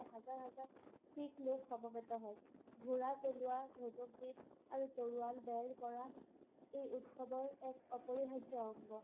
হাজাৰ-হাজাৰ শিখলোক সমবেত হয়। ঘোঁৰা চলোৱা, ধনুৰ্বিদ আৰু তৰোৱাল বেৰ কৰা এই উৎসৱৰ এক অপৰিহাৰ্য্য অংগ।